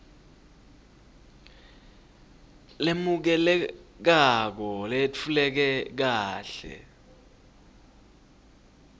lemukelekako leyetfuleke kahle